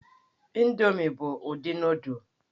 Indomi bụ ụdị nụụdụl.